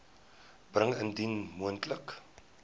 bring indien moontlik